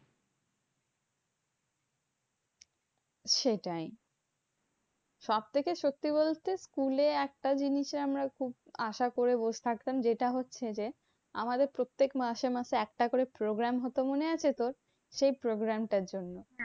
সেটাই, সবথেকে সত্যি বলতে school এ একটা জিনিসে আমরা খুব আশা করে বসে থাকতাম। যেটা হচ্ছে যে, আমাদের প্রত্যেক মাসে মাসে একটা করে program হতো মনে আছে তোর? সেই program টার জন্য।